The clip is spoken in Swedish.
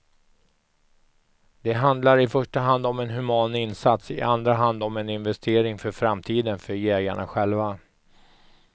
Det handlar i första hand om en human insats, i andra hand om en investering för framtiden för jägarna själva.